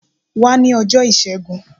Wá ní ọjọ́ọ ìṣẹ́gun.